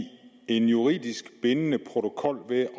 en juridisk bindende protokol ved